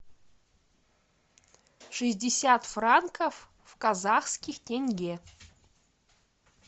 шестьдесят франков в казахских тенге